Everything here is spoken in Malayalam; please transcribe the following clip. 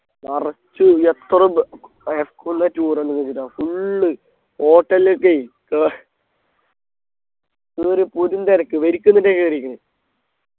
നിറച്ചു എത്ര ബ് ആഹ് school ലെ tour എന്ന് full hotel ലേക്കെ കെ ഒരു കൊടും തിരക്ക് വരിക്ക് നിന്നിട്ടാ കേറീക്ക്ണ്